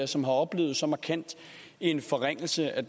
som har oplevet så markant en forringelse af